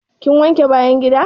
Kin wanke bayan gida?